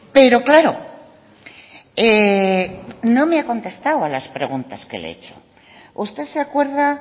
pero claro no me ha contestado a las preguntas que le he hecho usted se acuerda